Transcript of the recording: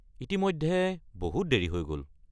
ইতিমধ্যে বহুত দেৰি হৈ গ’ল।